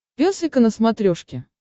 пес и ко на смотрешке